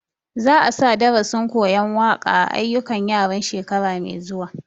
Za a sa darasin koyan waƙa a ayyukan yaran shekara mai zuwa